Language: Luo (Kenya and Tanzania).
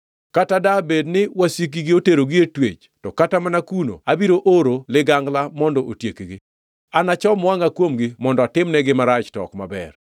Kata dabed ni wasikgi oterogi e twech, to kata mana kuno abiro oro ligangla mondo otiekgi. “Anachom wangʼa kuomgi mondo atimnegi marach to ok maber.”